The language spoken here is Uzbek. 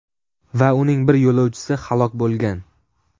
va uning bir yo‘lovchisi halok bo‘lgan.